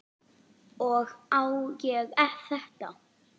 Og á ég þetta?